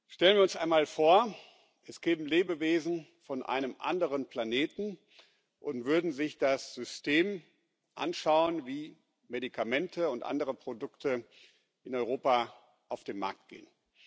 Stellen wir uns einmal vor, es gäbe Lebewesen von einem anderen Planeten und die würden sich das System anschauen, wie Medikamente und andere Produkte in Europa auf den Markt gehen.